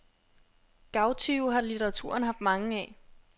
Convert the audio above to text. Gavtyve har litteraturen haft mange af.